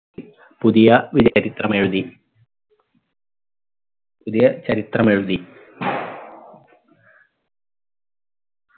പുതിയ ഒരു ചരിത്രമെഴുതി പുതിയ ചരിത്രമെഴുതി